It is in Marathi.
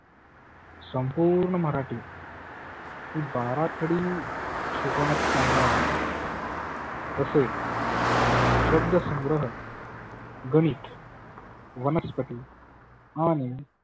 संपुर्ण मराठी बाराखडी शिकवण्यात त्याना आली. तसेच शब्द संग्रह गणित वनस्पती आणि